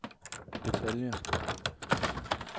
detaljer